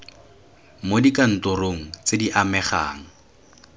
mo dikantorong tse di amegang